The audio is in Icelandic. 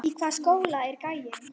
Í hvaða skóla er gæinn?